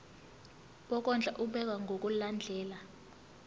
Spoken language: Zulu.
wokondla ubekwa ngokulandlela